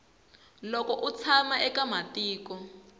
loko u tshama eka matiko